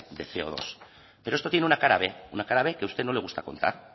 de ce o dos pero esto tiene una cara b una cara b que a usted no le gusta contar